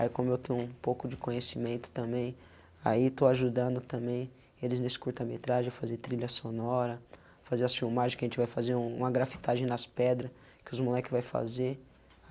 Aí como eu tenho um pouco de conhecimento também, aí estou ajudando também eles nesse curta metragem a fazer trilha sonora, fazer as filmagem que a gente vai fazer, uma grafitagem nas pedras que os moleques vai fazer.